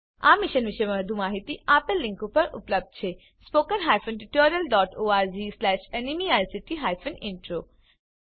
આ મિશન પર વધુ માહીતી આપેલ લીંક પર ઉપલબ્ધ છે spoken hyphen tutorial dot org slash NMEICT hyphen intro